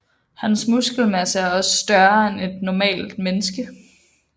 Hans muskelmasse er også større end hos et normalt menneske